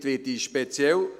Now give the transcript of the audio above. Damit werde ich spezifisch: